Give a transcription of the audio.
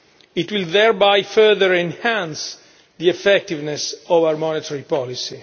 It will thereby further enhance the effectiveness of our monetary policy.